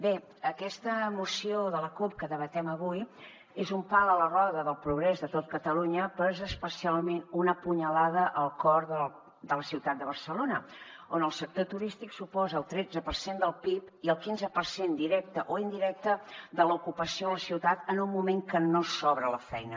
bé aquesta moció de la cup que debatem avui és un pal a la roda del progrés de tot catalunya però és especialment una punyalada al cor de la ciutat de barcelona on el sector turístic suposa el tretze per cent del pib i el quinze per cent directe o indirecte de l’ocupació a la ciutat en un moment en què no sobra la feina